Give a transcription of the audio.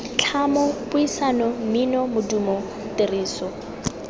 tlhamo puisano mmino modumo tiriso